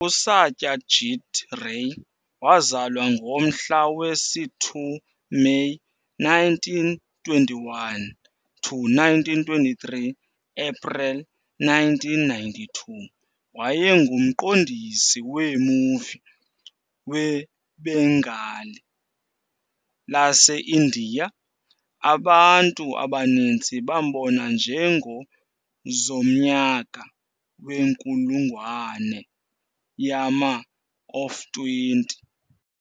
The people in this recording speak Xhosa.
USatyajit Ray wazalwa ngomhla wesi-2 May 1921 to 1923 April 1992 wayengumqondisi wee-movie weBenngali laseIndiya. Abantu abaninzi bambona njengozomnyaka wenkulungwane yama-of 20 .